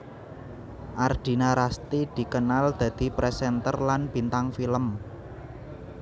Ardina Rasti dikenal dadi presenter lan bintang film